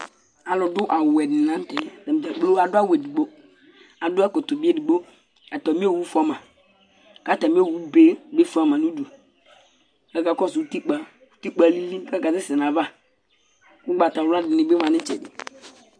alo do awu wɛ di ni lantɛ atadza kplo adu awu edigbo adu ɛkɔtɔ bi edigbo atami owu fua ma k'atami owu be bi fua ma no udu k'aka kɔsu utikpa utikpa alili k'aka sɛ sɛ n'ava ugbata wla di ni bi ma n'itsɛdi